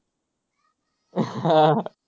हा